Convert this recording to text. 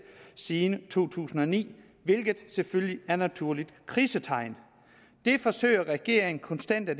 siden to tusind og ni hvilket selvfølgelig er et naturligt krisetegn det forsøger regeringen konstant at